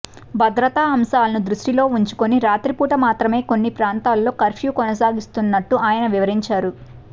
భద్రతా అంశాలను దృష్టిలో ఉంచుకుని రాత్రిపూట మాత్రమే కొన్ని ప్రాంతాల్లో కర్ఫ్యూ కొనసాగిస్తున్నట్టు ఆయన వివరించారు